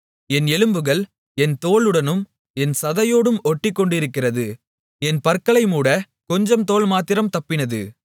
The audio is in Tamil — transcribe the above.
என் எலும்புகள் என் தோலுடனும் என் சதையோடும் ஒட்டிக்கொண்டிருக்கிறது என் பற்களை மூடக் கொஞ்சம் தோல்மாத்திரம் தப்பினது